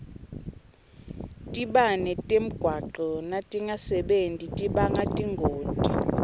tibane temgwaco natingasebenti tibanga tingoti